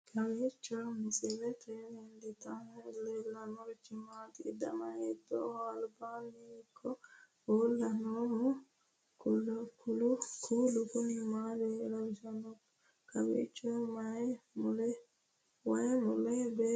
kowiicho misilete leellanorichi maati ? dana hiittooho ?abadhhenni ikko uulla noohu kuulu kuni maa lawannoho? kowiicho wayi mule beetto maassitanni noote